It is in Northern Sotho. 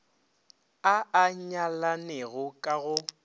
a a nyalanego ka go